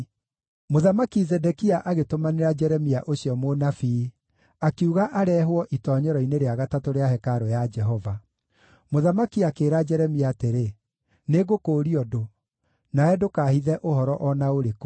Mũthamaki Zedekia agĩtũmanĩra Jeremia ũcio mũnabii, akiuga areehwo itoonyero-inĩ rĩa gatatũ rĩa hekarũ ya Jehova. Mũthamaki akĩĩra Jeremia atĩrĩ, “Nĩngũkũũria ũndũ. Nawe ndũkaahithe ũhoro o na ũrĩkũ.”